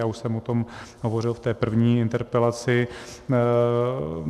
Já už jsem o tom hovořil v té první interpelaci.